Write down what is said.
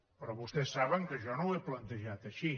però vostès saben que jo no ho he plantejat així